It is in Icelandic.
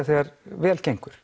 þegar vel gengur